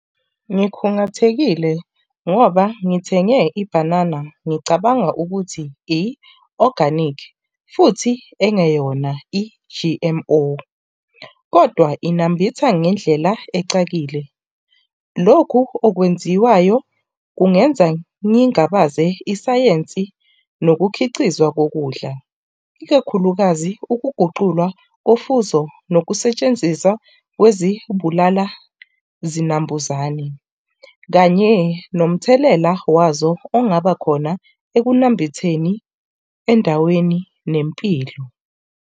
Ngikhungathekile ngoba ngithenge ibhanana, ngicabanga ukuthi i-organic, futhi engeyona i-G_M_O. Kodwa inambitha ngendlela ecakile. Lokhu okwenziwayo kungenza ngingabaze isayensi nokukhicizwa kokudla, ikakhulukazi ukuguculwa kofuzo nokusetshenziswa kwezibulalazinambuzane, kanye nomthelela wazo ongabakhona ekunambitheni endaweni nempilo.